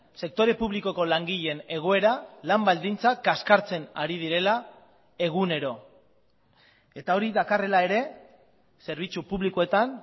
sektore publikoko langileen egoera lan baldintzak kaskartzen ari direla egunero eta hori dakarrela ere zerbitzu publikoetan